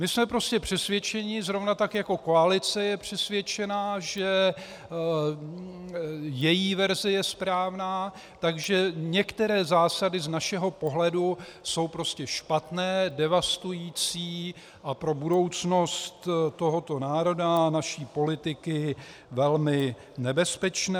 My jsme prostě přesvědčeni, zrovna tak jako koalice je přesvědčena, že její verze je správná, že některé zásady z našeho pohledu jsou prostě špatné, devastující a pro budoucnost tohoto národa a naší politiky velmi nebezpečné.